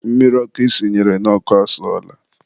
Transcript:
mmiri ọkụ i sinyere n'ọkụ asụọla.